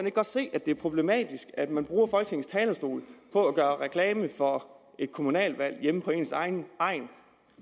ikke godt se at det er problematisk at man bruger folketingets talerstol på at gøre reklame for et kommunalvalg hjemme på ens egen egn